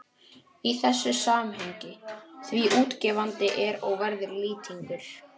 í þessu samhengi, því útgefandi er og verður Lýtingur